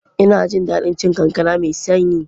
Ina jin daɗin cin kankana mai sanyi.